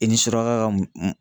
I ni suraka ka m